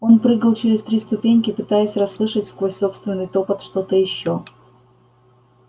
он прыгал через три ступеньки пытаясь расслышать сквозь собственный топот что-то ещё